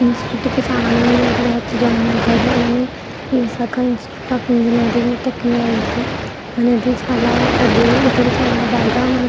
ఈ ఇనిస్ట్యూట్ కి చాలా మంది వచ్చి జాయిన్ అవుతారు Visakha institute of engineering and technology అనేది చాలా పెద్దది ఇక్కడ బాగా మనకి --